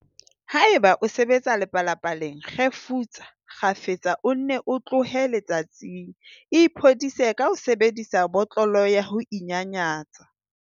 Haeba o sebetsa lepalapa-leng, kgefutsa kgafetsa o nne o tlohe letsatsing. Iphodise ka ho sebedisa botlolo ya ho inyanyatsa.